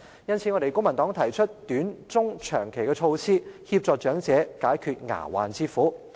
因此，公民黨提出短、中、長期措施，協助長者解決牙患之苦。